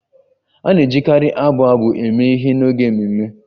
A na-ejikarị abụ abụ eme ihe n'oge ememe